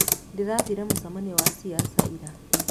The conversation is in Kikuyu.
Ndĩrathire mũcemanioinĩ wa ciaca ira.